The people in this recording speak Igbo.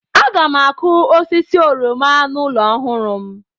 Aga m akụ osisi oroma n'ụlọ ọhụrụ m.